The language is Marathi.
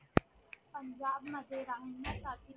पंजाब मध्ये राहण्या साठी